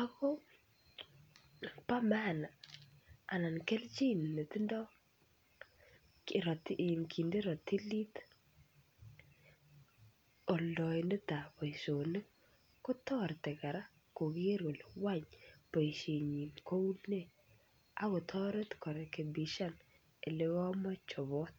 ako pa maana anan keljin netindoi e nginde rotilit oldoindetab boisionik kotoreti koker kora kole boisienyi koune akotoret korekebishan olekomokochobot.